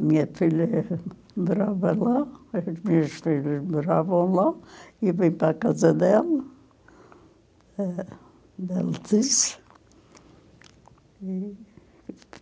A minha filha eh morava lá, as minhas filhas moravam lá, e eu vim para a casa dela, eh da Letícia, e me